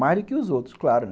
Mais do que os outros, claro.